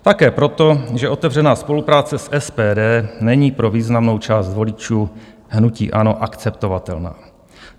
Také proto, že otevřená spolupráce s SPD není pro významnou část voličů hnutí ANO akceptovatelná.